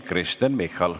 Kristen Michal.